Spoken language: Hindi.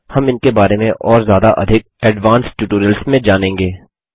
हम इनके बारे में और ज्यादा अधिक एडवांस्ड ट्यूटोरियल्स में जानेंगे